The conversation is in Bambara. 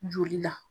Joli la